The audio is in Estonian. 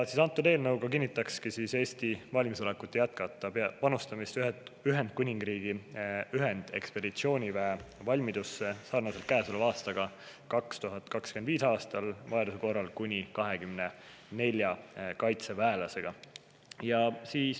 Selle eelnõu kohaselt kinnitakski Eesti valmisolekut jätkata panustamist Ühendkuningriigi ühendekspeditsiooniväe valmidusse nagu tänavu ka 2025. aastal vajaduse korral kuni 24 kaitseväelasega.